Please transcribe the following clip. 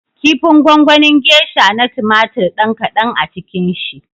Kifin gongonin gesha na tumatir ɗan kaɗan a cikin shi